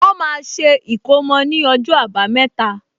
Wọ́n máa ṣe ìkómò ní ọjọ́ àbámẹ́ta